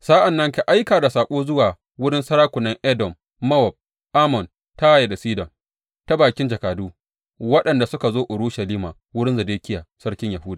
Sa’an nan ka aika da saƙo zuwa wurin sarakunan Edom, Mowab, Ammon, Taya da Sidon ta bakin jakadu waɗanda suka zo Urushalima wurin Zedekiya sarkin Yahuda.